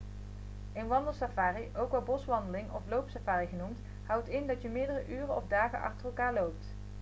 een wandelsafari ook wel een 'boswandeling' of 'loopsafari' genoemd houdt in dat je meerdere uren of dagen achter elkaar loopt